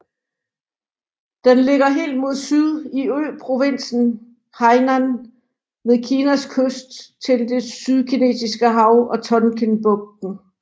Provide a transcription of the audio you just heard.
Den ligger helt mod syd i øprovinsen Hainan ved Kinas kyst til det Sydkinesiske Hav og Tonkinbugten